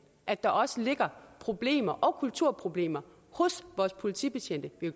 at der også ligger problemer og kulturproblemer hos vores politibetjente vi